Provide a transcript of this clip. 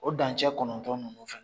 O dancɛ kɔnɔntɔn ninnu fɛnɛ